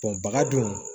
baga dun